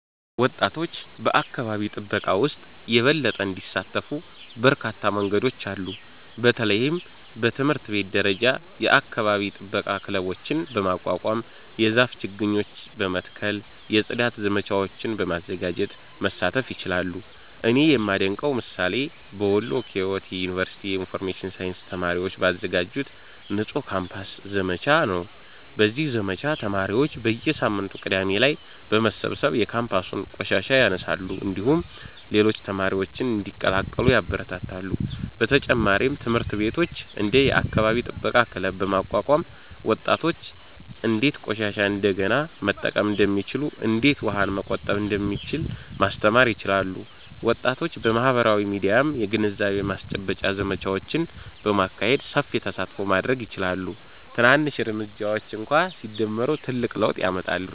ወጣቶች በአካባቢ ጥበቃ ውስጥ የበለጠ እንዲሳተፉ በርካታ መንገዶች አሉ። በተለይም በትምህርት ቤት ደረጃ የአካባቢ ጥበቃ ክለቦችን በማቋቋም፣ የዛፍ ችግኝ በመትከል፣ የጽዳት ዘመቻዎችን በማዘጋጀት መሳተፍ ይችላሉ። እኔ የማደንቀው ምሳሌ በወሎ ኪዮት ዩኒቨርሲቲ የኢንፎርሜሽን ሳይንስ ተማሪዎች ባዘጋጁት “ንጹህ ካምፓስ” ዘመቻ ነው። በዚህ ዘመቻ ተማሪዎች በየሳምንቱ ቅዳሜ ላይ በመሰብሰብ የካምፓሱን ቆሻሻ ያነሳሉ፣ እንዲሁም ሌሎች ተማሪዎችን እንዲቀላቀሉ ያበረታታሉ። በተጨማሪም ትምህርት ቤቶች እንደ “የአካባቢ ጥበቃ ክለብ” በማቋቋም ወጣቶች እንዴት ቆሻሻን እንደገና መጠቀም እንደሚችሉ፣ እንዴት ውሃን መቆጠብ እንደሚቻል ማስተማር ይችላሉ። ወጣቶች በማህበራዊ ሚዲያም የግንዛቤ ማስጨበጫ ዘመቻዎችን በማካሄድ ሰፊ ተሳትፎ ማድረግ ይችላሉ። ትናንሽ እርምጃዎች እንኳ ሲደመሩ ትልቅ ለውጥ ያመጣሉ።